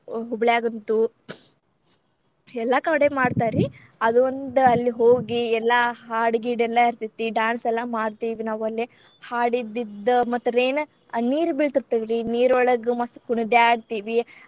ಹೂಬ್ಳ್ಯಾಗಂತೂ ಎಲ್ಲಾ ಕಡೆ ಮಾಡ್ತಾರ್ರೀ ಅದೊಂದ್ ಅಲ್ಲಿ ಹೋಗಿ ಎಲ್ಲಾ ಹಾಡ್ ಗೀಡ ಎಲ್ಲಾ ಇರ್ತೇತಿ dance ಎಲ್ಲಾ ಮಾಡ್ತೇವಿ ನಾವ್ ಅಲ್ಲೇ ಹಾಡಿದಿದ್ದ್ ಮತ್ rain ಅ ನೀರ್ ಬೀಳ್ತೇತಿ ನೀರೋಳಗ್ ಮಸ್ತ್ ಕುಣದ್ಯಾಡ್ತೇವಿ.